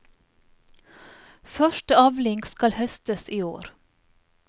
Første avling skal høstes i år.